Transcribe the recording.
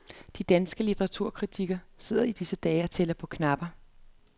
De danske litteraturkritikere sidder i disse dage og tæller på knapperne.